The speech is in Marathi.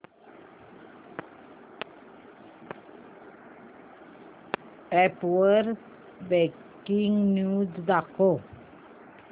अॅप वर ब्रेकिंग न्यूज दाखव